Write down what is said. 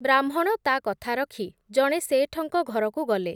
ବ୍ରାହ୍ମଣ ତା’ କଥା ରଖି, ଜଣେ ଶେଠଙ୍କ ଘରକୁ ଗଲେ ।